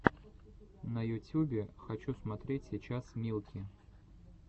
на ютюбе хочу смотреть сейчас милки